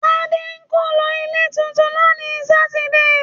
Tadé ń kó lọ ilé tuntun lónìí Sátidé